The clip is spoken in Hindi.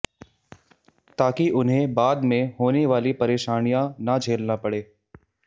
ताकि उन्हें बाद में होने वाली परेशानियां ना झेलना पड़े